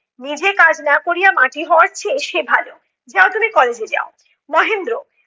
নিজে কাজ না করিয়া মাটি হওয়ার চেয়ে সে ভালো, যাও তুমি college এ যাও। মহেন্দ্র-